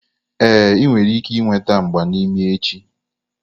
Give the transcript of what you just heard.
Ee, ị nwere ike ịnweta mgba n'imi echi.